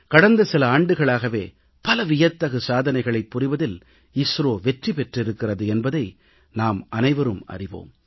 கடந்த சில ஆண்டுகளாகவே பல வியத்தகு சாதனைகளைப் புரிவதில் இஸ்ரோ வெற்றி பெற்றிருக்கிறது என்பதை நாம் அனைவரும் அறிவோம்